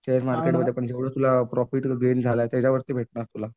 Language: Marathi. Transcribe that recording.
शेअर मार्केटमध्ये पण जेवढं तुला प्रॉफिट होईल झालाय त्याच्यावरती भेटणार तुला.